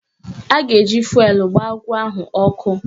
A ga-eji fụelụ gbaa agwọ ahụ ọkụ